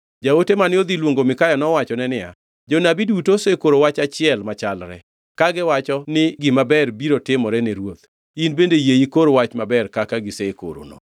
Jaote mane odhi luongo Mikaya nowachone niya “Jonabi duto osekoro wach achiel machalre, kagiwacho ni gima ber biro timore ni ruoth. In bende yie ikor wach maber kaka gisekorono.”